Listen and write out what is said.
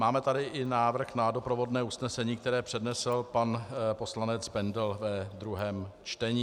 Máme tady i návrh na doprovodné usnesení, které přednesl pan poslanec Bendl ve druhém čtení.